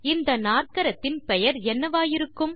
இந்த நாற்கரத்தின் பெயரென்னவாயிருக்கும்